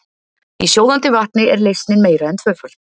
Í sjóðandi vatni er leysnin meira en tvöföld.